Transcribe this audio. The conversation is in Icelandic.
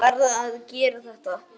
Hann varð að gera þetta.